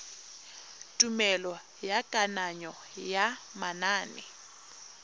tumelelo ya kananyo ya manane